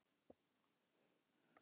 Engin svör frá ráðuneyti